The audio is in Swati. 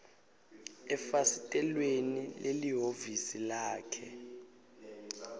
efasitelweni lelihhovisi lakhe